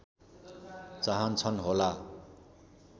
चाहन्छन् होला